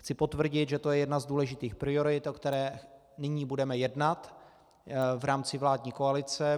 Chci potvrdit, že to je jedna z důležitých priorit, o které nyní budeme jednat v rámci vládní koalice.